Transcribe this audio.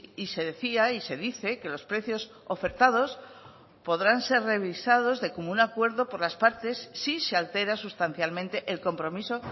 y se decía y se dice que los precios ofertados podrán ser revisados de común acuerdo por las partes si se altera sustancialmente el compromiso